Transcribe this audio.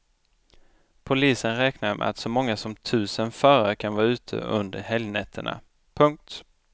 Polisen räknar med att så många som tusen förare kan vara ute under helgnätterna. punkt